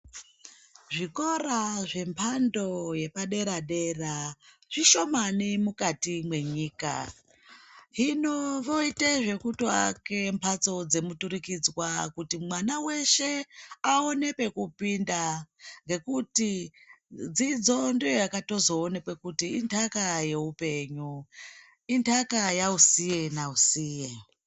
Zvikora zvembando yedere dera zvishomani mukati menyika hinovoita zvekutoaka mhatso dzemututikidzwa kuti mwana weshe aone pekupinda dzidzo ndiyo yakatozooneka kuti dzidzo inhaka yeupenyu inhaka yausiye nausiye